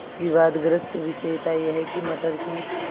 विवादग्रस्त विषय था यह कि मटर की